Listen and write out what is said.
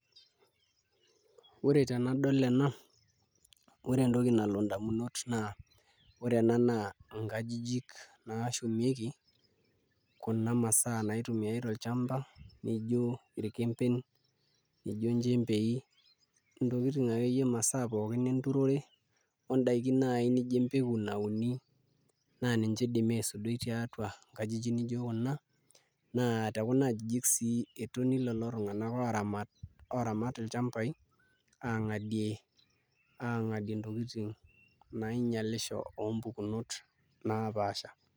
Ore tenadol ena ore entoki nalo indamunot ore kuna naa nkajijik naashumieki kuna masaa naaituma tolchamba nijio irkembei nijio inchembei ntokitin akeyie imasaa pookin enturore 0ndaiki naai nijio empeku nauni naa ninche idimi aisudoi tiatua nakjijik nijio kuna naa tekuna ajijik sii etoni lelo tung'anak ooramat ilchambai aang'adie ntokitin nainyialisho oompukunot naapaasha.